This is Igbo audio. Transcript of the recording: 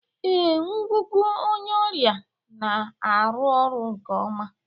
Ee, ngụgụ onye ọrịa na-arụ ọrụ nke ọma